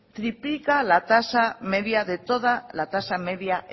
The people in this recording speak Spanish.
triplica la tasa media de toda la tasa media